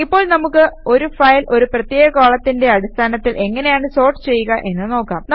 ഇപ്പോൾ നമുക്ക് ഒരു ഫയൽ ഒരു പ്രത്യേക കോളത്തിന്റെ അടിസ്ഥാനത്തിൽ എങ്ങനെയാണ് സോർട്ട് ചെയ്യുക എന്ന് നോക്കാം